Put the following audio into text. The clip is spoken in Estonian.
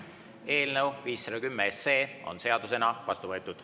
Eelnõu 510 on seadusena vastu võetud.